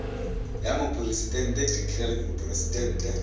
ya moporesitente de klerk moporesitente